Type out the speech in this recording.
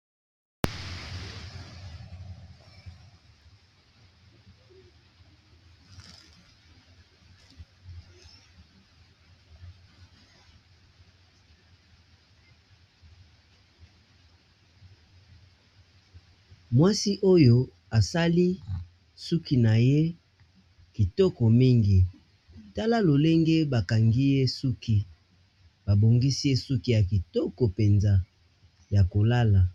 Mwasi oyo asali suki naye kitoko mingi talalonge bakangiye suki babongisiye suki yakitoko penza yakolala